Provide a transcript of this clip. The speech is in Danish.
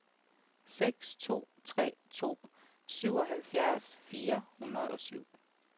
seks to tre to syvoghalvfjerds fire hundrede og syv